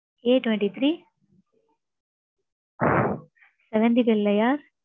Atwenty three, seventh Pillaiyar